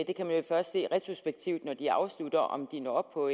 jo først se retrospektivt når de afslutter om de når op på